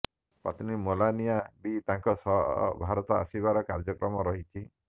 ପତ୍ନୀ ମେଲାନିଆ ବି ତାଙ୍କ ସହ ଭାରତ ଆସିବାର କାର୍ଯ୍ୟକ୍ରମ ରହିଛି